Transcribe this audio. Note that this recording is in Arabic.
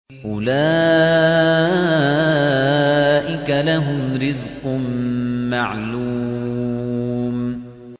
أُولَٰئِكَ لَهُمْ رِزْقٌ مَّعْلُومٌ